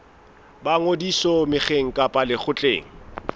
ba ngodiso mokgeng kapa lekgotleng